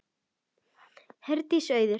Herdís og Auður.